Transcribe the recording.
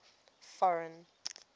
foreign